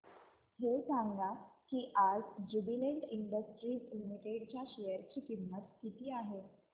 हे सांगा की आज ज्युबीलेंट इंडस्ट्रीज लिमिटेड च्या शेअर ची किंमत किती आहे